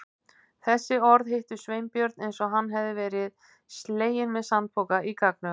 Þessi orð hittu Sveinbjörn eins og hann hefði verið sleginn með sandpoka í gagnaugað.